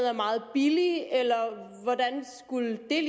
er meget billigere eller hvordan skulle det